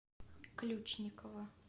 ключникова